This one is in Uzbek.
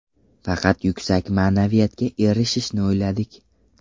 Faqat yuksak ma’naviyatga erishishni o‘yladik.